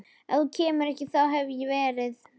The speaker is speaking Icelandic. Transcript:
Ef þú kemur ekki þá hef ég verið